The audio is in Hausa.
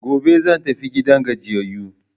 Gobe zan tafi gidan gajiyayu.